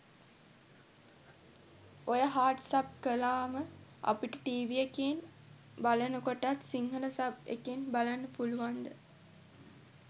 ඔය hard sub කලාම අපිට ටීවී එකේ බලනකොටත් සිංහල සබ් එකෙන් බලන්න පුලුවන්ද?